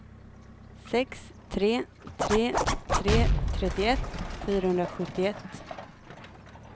sex tre tre tre trettioett fyrahundrasjuttioett